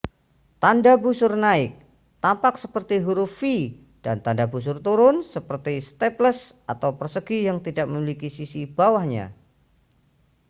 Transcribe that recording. tanda busur naik tampak seperti huruf v dan tanda busur turun seperti staples atau persegi yang tidak memiliki sisi bawahnya